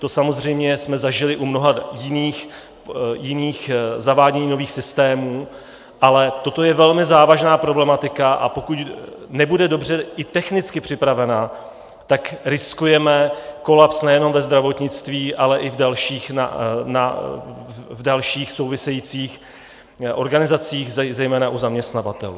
To samozřejmě jsme zažili u mnoha jiných zavádění nových systémů, ale toto je velmi závažná problematika, a pokud nebude dobře i technicky připravena, tak riskujeme kolaps nejenom ve zdravotnictví, ale i v dalších, souvisejících organizacích, zejména u zaměstnavatelů.